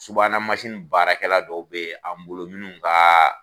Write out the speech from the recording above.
Subahana masi in baarakɛla dɔw be an bolo minnu ka